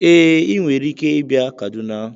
Ee, ị nwere ike ịbịa Kaduna